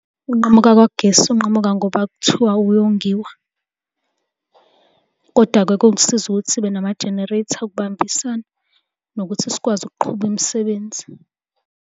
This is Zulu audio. Ukunqamuka kukagesi unqamuka ngoba kuthiwa uyongiwa, kodwa-ke kokusiza ukuthi sibe nama-generator okubambisana nokuthi sikwazi ukuqhuba imisebenzi.